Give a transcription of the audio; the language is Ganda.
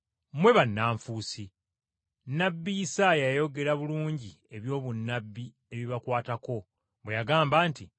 Mmwe bannanfuusi! Nnabbi Isaaya yayogera bulungi ebyobunnabbi ebibakwatako bwe yagamba nti,